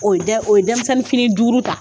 O dɛ o ye denmisɛnni fini duuru ta